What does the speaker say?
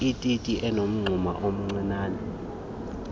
ititi enomngxuma omncianen